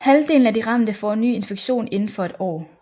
Halvdelen af de ramte får en ny infektion inden for et år